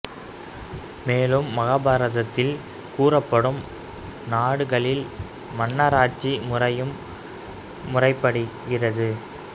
மேலும் மகாபாரத்தில் கூறப்படும் நாடுகளில் மன்னராட்சி முறையும் முறைப்படி கி